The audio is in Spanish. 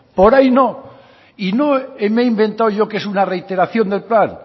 por ahí no y no me he inventado yo que es una reiteración del plan